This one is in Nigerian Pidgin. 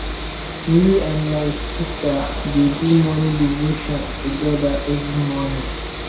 me and my sista dey do morning devotion togeda every morning